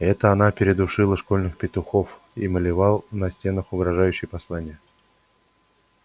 это она передушила школьных петухов и малевал на стенах угрожающие послания